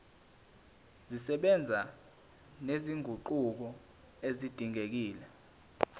zisebenza nezinguquko ezidingekile